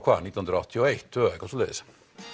nítján hundruð áttatíu og eitt tvö eitthvað svoleiðis